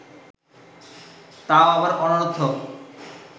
তাও আবার অনর্থক